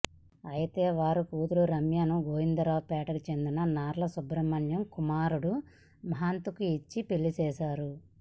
అయితే వారి కూతురు రమ్యను గోవిందరావు పేటకు చెందిన నార్ల సుబ్రమణ్యం కుమా రుడు మహంత్కు ఇచ్చి పెళ్లి చేశారు